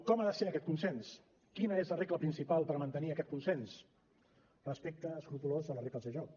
com ha de ser aquest consens quina és la regla principal per mantenir aquest consens respecte escrupolós de les regles de joc